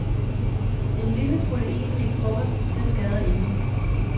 En lille proteinrig frokost, det skader ingen.